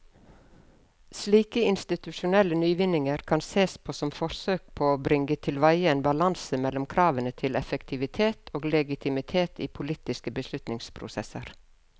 Slike institusjonelle nyvinninger kan sees som forsøk på å bringe tilveie en balanse mellom kravene til effektivitet og legitimitet i politiske beslutningsprosesser.